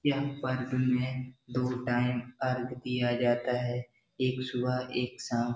यह पार्किंग में दो टाइम पार्क किया जाता है एक सुबह एक शाम --